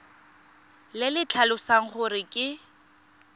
le le tlhalosang gore ke